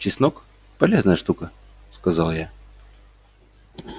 чеснок полезная штука сказал я